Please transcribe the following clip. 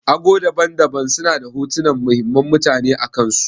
Ago daban-daban suna da hotunan muhimman mutane akansu.